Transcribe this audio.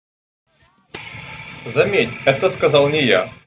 заметь это сказал не я